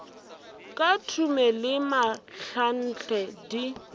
ka thume le mahlanhle di